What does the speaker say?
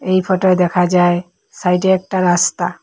এই ফটোয় দেখা যায় সাইডে একটা রাস্তা।